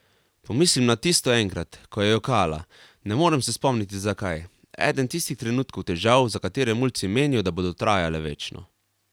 Pomislim na tisto enkrat, ko je jokala, ne morem se spomniti zakaj, eden tistih trenutkov težav, za katere mulci menijo, da bodo trajale večno.